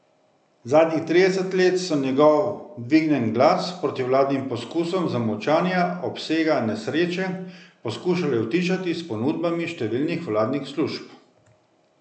Zadnjih trideset let so njegov dvignjeni glas proti vladnim poskusom zamolčanja obsega nesreče poskušali utišati s ponudbami številnih vladnih služb.